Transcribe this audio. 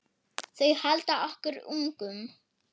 Þau halda okkur ungum.